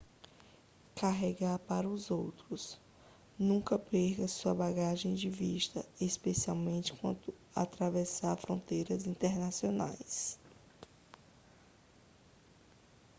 carregar para os outros nunca perca sua bagagem de vista especialmente quando atravessar fronteiras internacionais